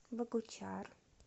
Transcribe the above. богучар